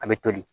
A bɛ toli